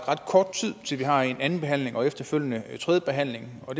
kort tid til at vi har anden behandling og efterfølgende tredje behandling og